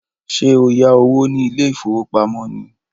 Ṣé o yá owó ní ilé ìfowópamọ́ ni?